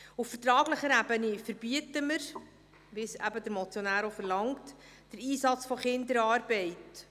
Auf vertraglicher Ebene verbieten wir, wie es der Motionär eben verlangt, den Einsatz von Kinderarbeit.